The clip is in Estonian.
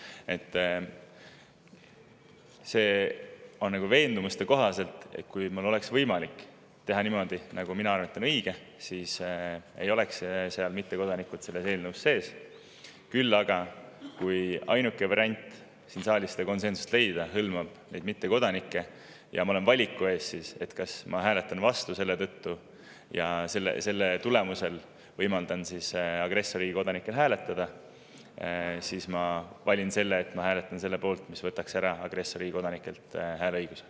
See on nagu veendumuste kohaselt, sest kui oleks võimalik teha niimoodi, nagu minu arvates on õige, siis ei oleks mittekodanikud selles eelnõus sees, küll aga, kui ainuke variant siin saalis konsensust leida hõlmab mittekodanikke, ja ma olen valiku ees, kas ma hääletan selle tõttu vastu ja selle tulemusel võimaldan agressorriigi kodanikel hääletada, siis ma valin selle, et ma hääletan selle poolt, mis võtaks agressorriigi kodanikelt hääleõiguse ära.